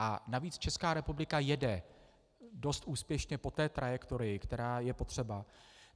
A navíc Česká republika jede dost úspěšně po té trajektorii, která je potřeba.